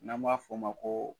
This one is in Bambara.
N'an b'a f'ɔ ma ko